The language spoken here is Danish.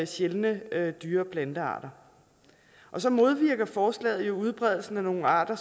sjældne dyre og plantearter så modvirker forslaget jo udbredelsen af nogle arter